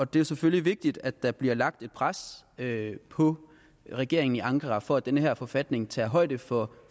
det er selvfølgelig vigtigt at der bliver lagt et pres på regeringen i ankara for at den her forfatning tager højde for